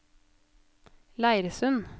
Leirsund